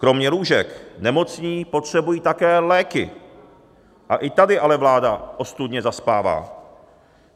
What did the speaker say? Kromě lůžek nemocní potřebují také léky, a i tady ale vláda ostudně zaspává.